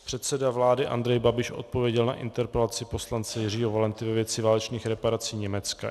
Předseda vlády Andrej Babiš odpověděl na interpelaci poslance Jiřího Valenty ve věci válečných reparací Německa.